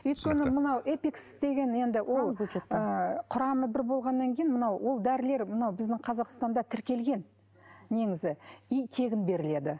өйткені мынау эпикс деген енді ол ы құрамы бір болғаннан кейін мынау ол дәрілер мынау біздің қазақстанда тіркелген негізі и тегін беріледі